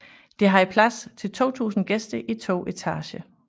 Det havde plads til 2000 gæster i to etager